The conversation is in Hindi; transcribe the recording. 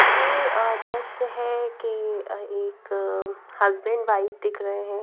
ये अ दृश्य है के अ एक हस्बैंड वाइफ दिख रहे हैं।